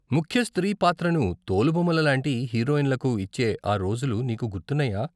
ముఖ్య స్త్రీ పాత్రను తోలుబొమ్మల లాంటి హీరోయిన్లకు ఇచ్చే ఆ రోజులు నీకు గుర్తున్నాయా?